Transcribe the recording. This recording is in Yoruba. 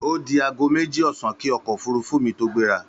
Ó di aago méjì ọ̀sán kí ọkọ̀ òfúrufú mi tó gbéra